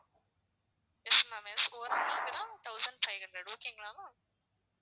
yes ma'am yes thousand five hundred okay ங்களா ma'am